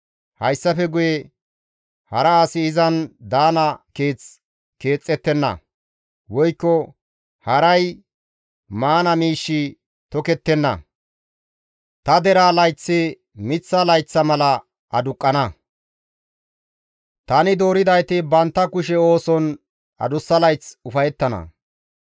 Hayssafe guye hara asi izan daana keeth keexxettenna; woykko haray maana miishshi tokettenna; ta deraa layththi miththa layththa mala aduqqana; tani dooridayti bantta kushe ooson adussa layth ufayettana.